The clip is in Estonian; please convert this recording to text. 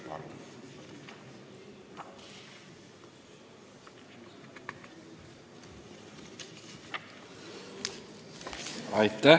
Palun!